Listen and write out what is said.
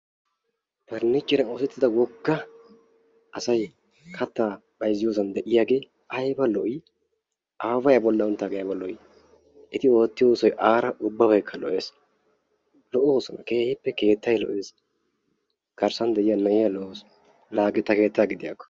Parniichcheriyan oosetida wogga asay kattaa bayzziyosan de"iyagee ayiba lo"ii! Abebay a bollan uttaagee ayiba lo"ii! Eti oottiyo oosoyi aara ubbabaykka lo"ees. Lo"oosona kehippe keettayi lo"ees. Garssan de"iya na"iya lo'awusu. La hagee ta keetta gidiyakko.